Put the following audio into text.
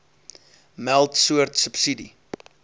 meld soort subsidie